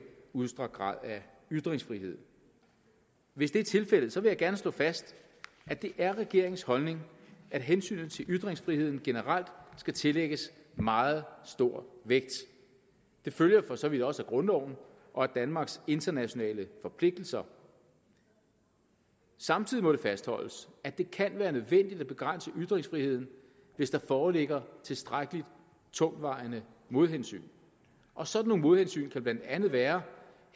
udstrakt grad af ytringsfrihed hvis det er tilfældet vil jeg gerne slå fast at det er regeringens holdning at hensynet til ytringsfriheden generelt skal tillægges meget stor vægt det følger for så vidt også af grundloven og af danmarks internationale forpligtelser samtidig må det fastholdes at det kan være nødvendigt at begrænse ytringsfriheden hvis der foreligger tilstrækkelig tungtvejende modhensyn og sådan nogle modhensyn kan blandt andet være